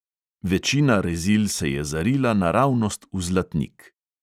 Večina rezil se je zarila naravnost v zlatnik.